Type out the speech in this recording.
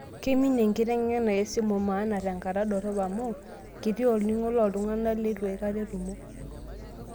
Keiminie enkiteng'ena esimu mana tenkata dorop amu, kiti olning'o tooltung'anak leitu aikata etumo.